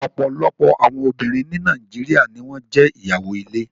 Ọ̀pọ̀lọpọ̀ àwọn obìnrin ní Nàìjíríà ni wọn jẹ́ ìyàwó ilé